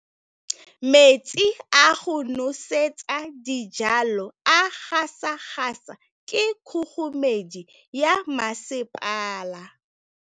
Metsi a go nosetsa dijalo a gasa gasa ke kgogomedi ya masepala.